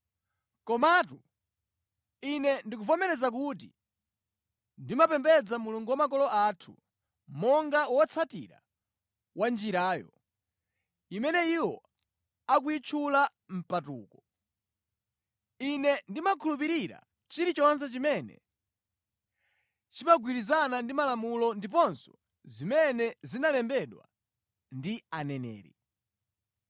Komatu ine ndikuvomera kuti ndimapembedza Mulungu wa makolo athu, monga wotsatira wa Njirayo, imene iwo akuyitchula mpatuko. Ine ndimakhulupirira chilichonse chimene chimagwirizana ndi malamulo ndiponso zimene zinalembedwa ndi Aneneri.